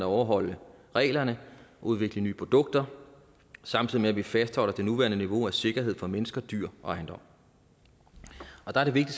overholde reglerne og udvikle nye produkter samtidig med at vi fastholder det nuværende niveau af sikkerhed for mennesker dyr og ejendom der er det